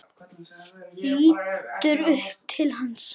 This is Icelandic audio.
Lítur upp til hans.